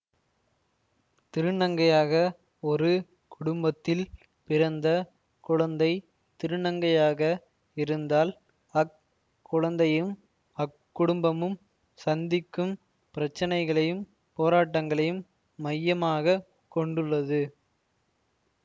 திருநங்கையாக ஒரு குடும்பத்தில் பிறந்த குழந்தை திருநங்கையாக இருந்தால் அக் குழந்தையும் அக்குடும்பமும் சந்திக்கும் பிரச்சனைகளையும் போராட்டங்களையும் மையமாக கொண்டுள்ளது